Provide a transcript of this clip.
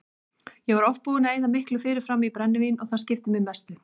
Ég var oft búinn að eyða miklu fyrirfram í brennivín og það skipti mig mestu.